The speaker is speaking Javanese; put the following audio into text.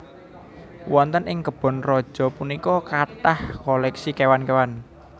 Wonten ing kebon raja punika kathah koleksi kéwan kéwan